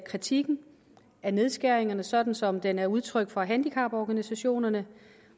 kritikken af nedskæringerne sådan som den er udtrykt fra handicaporganisationerne